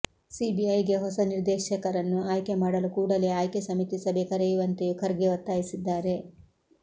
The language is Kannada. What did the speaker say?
ಸಿಬಿಐಗೆ ಹೊಸ ನಿರ್ದೇಶಕರನ್ನು ಆಯ್ಕೆ ಮಾಡಲು ಕೂಡಲೆ ಆಯ್ಕೆ ಸಮಿತಿ ಸಭೆ ಕರೆಯುವಂತೆಯೂ ಖರ್ಗೆ ಒತ್ತಾಯಿಸಿದ್ದಾರೆ